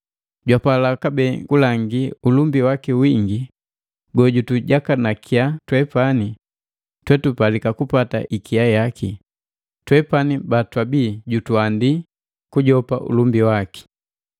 Jwapala kabee kulangi ulumbi waki wingi gojutujakanakya twepani twetupalika kupata ikia yaki, twepani batwabi jutuandi kujopa ulumbi waki.